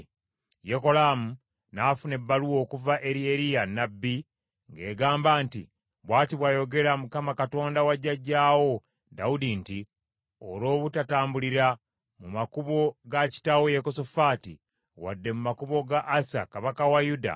Yekolaamu n’afuna ebbaluwa okuva eri Eriya nnabbi ng’egamba nti, “Bw’ati bw’ayogera Mukama Katonda wa jjajjaawo Dawudi nti, ‘Olw’obutatambulira mu makubo ga kitaawo Yekosafaati, wadde mu makubo ga Asa kabaka wa Yuda,